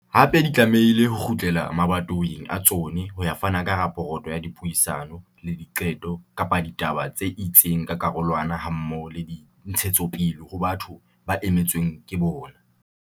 Hape di tlamehile ho kgutlela mabatoweng a tsona ho ya fana ka raporoto ya dipuisano le diqeto kapa ditaba tse itseng tsa karolwana hammoho le dintshetsopele ho batho ba emetsweng ke bona.